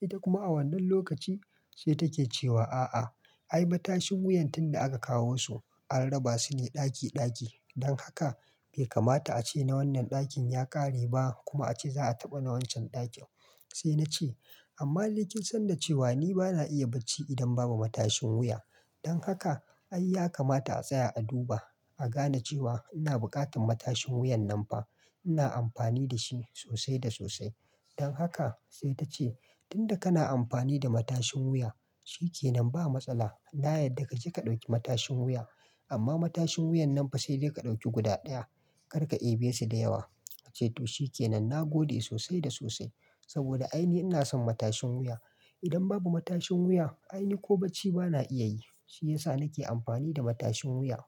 Ita kuma a wannan lokaci sai take cewa a'a, ai matashin wuyan tun da aka kawo su an raba su ne ɗaki ɗaki. Don haka bai kamata a ce na wannan ɗakin ya ƙare ba kuma a ce za a taɓa na wancan ɗakin. Sai na ce amma dai kin san da cewa ni bana iya bacci idan babu matashin wuya. Don haka ai ya kamata a tsaya a duba, a gane cewa ina buƙatar matashin wuyan nan fa. Ina amfani da shi sosai da sosai. Don haka sai ta ce tunda kana amfani da matashin wuya, shikenan ba matsala. Na yarda ka je ka ɗauki matashin wuya. Amma matashin wuyan nan fa sai dai ka ɗauki guda ɗaya. Kar ka eɓe su da yawa. Na ce to shikenan na gode sosai da sosai. Saboda ai ni ina son matashin wuya. Idan babu matashin wuya, ai ni ko bacci bana iya yi. Shi ya sa nake amfani da matashin wuya.